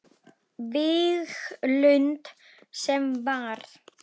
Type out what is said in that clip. Víglund sem var.